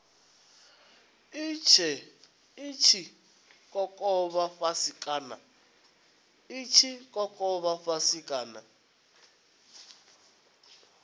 i tshi kokovha fhasi kana